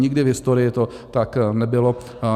Nikdy v historii to tak nebylo.